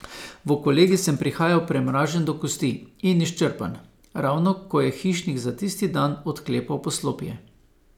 V kolegij sem prihajal premražen do kosti in izčrpan, ravno ko je hišnik za tisti dan odklepal poslopje.